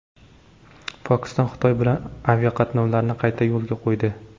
Pokiston Xitoy bilan aviaqatnovlarni qayta yo‘lga qo‘ydi.